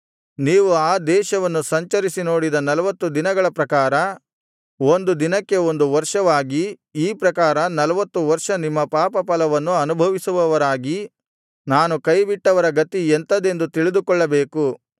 ನೀವು ಆ ದೇಶವನ್ನು ಸಂಚರಿಸಿ ನೋಡಿದ ನಲ್ವತ್ತು ದಿನಗಳ ಪ್ರಕಾರ ಒಂದು ದಿನಕ್ಕೆ ಒಂದು ವರ್ಷವಾಗಿ ಈ ಪ್ರಕಾರ ನಲ್ವತ್ತು ವರ್ಷ ನಿಮ್ಮ ಪಾಪಫಲವನ್ನು ಅನುಭವಿಸುವವರಾಗಿ ನಾನು ಕೈಬಿಟ್ಟವರ ಗತಿ ಎಂಥದೆಂದು ತಿಳಿದುಕೊಳ್ಳಬೇಕು